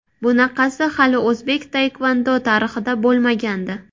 Bunaqasi hali o‘zbek taekvondo tarixida bo‘lmagandi.